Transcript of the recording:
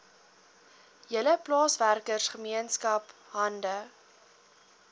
hele plaaswerkergemeenskap hande